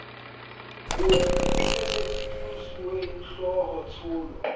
booki di lefelletswe kemosuwehlooho tsholo